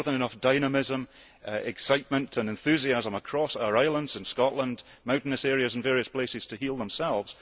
There is more than enough dynamism, excitement and enthusiasm across our islands in Scotland, mountainous areas and various places to help them heal themselves.